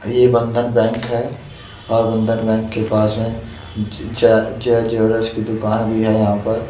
ये बंधन बैंक है और बंधन बैंक के पास मे ज ज ज ज्वेलर्स की दुकान भी यहाँ पर।